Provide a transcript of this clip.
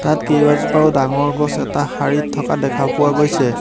তাত কেইবাজোপাও ডাঙৰ গছ এটা শাৰীত থকা দেখা পোৱা গৈছে।